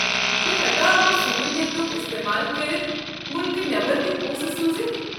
بہٕ ہٮ۪کا امہِ سہوٗلیتُک استمقل كٔرتھ مُلکہٕ نٮ۪بر تہِ پونٛسہٕ سوٗزِتھ؟